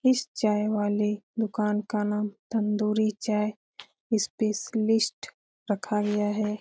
इस चाय वाले दूकान का नाम तंदूरी चाय स्पेशलिस्ट रखा गया है ।